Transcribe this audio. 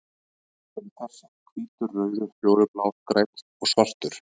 Þeir eru þessir: Hvítur, rauður, fjólublár, grænn og svartur.